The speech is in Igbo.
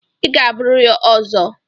Ị ga-abụrịrị Ozo!